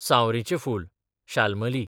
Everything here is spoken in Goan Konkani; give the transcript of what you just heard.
सांवरीचें फूल, शाल्मली